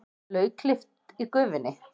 Lauklykt í gufunni.